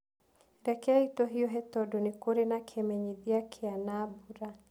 Rekei tũhiũhe tondũ nĩ kũrĩ na kĩmenyithia kĩa na mbura.